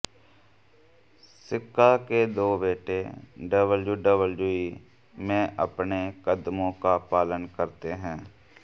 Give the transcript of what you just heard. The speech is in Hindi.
सिका के दो बेटे डब्ल्यूडब्ल्यूई में अपने कदमों का पालन करते हैं